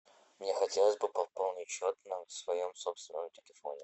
мне хотелось бы пополнить счет на своем собственном телефоне